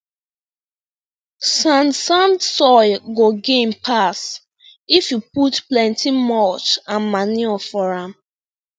sand sand soil go gain pass if you put plenty mulch and manure for am